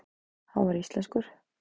Hann var íslenskur maður.